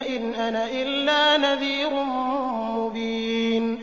إِنْ أَنَا إِلَّا نَذِيرٌ مُّبِينٌ